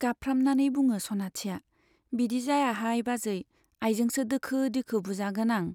गाबफ्रामनानै बुङो सनाथिया , बिदि जायाहाय बाजै, आइजोंसो दोखो दोखो बुजागोन आं। '